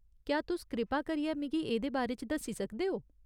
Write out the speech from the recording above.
क्या तुस कृपा करियै मिगी एह्दे बारे च दस्सी सकदे ओ ?